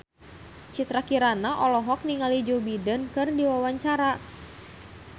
Citra Kirana olohok ningali Joe Biden keur diwawancara